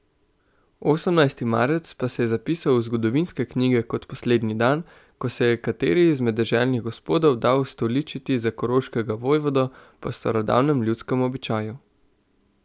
Osemnajsti marec pa se je zapisal v zgodovinske knjige kot poslednji dan, ko se je kateri izmed deželnih gospodov dal ustoličiti za koroškega vojvodo po starodavnem ljudskem običaju.